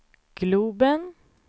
globen